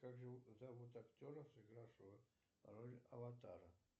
как зовут актера сыгравшего роль аватара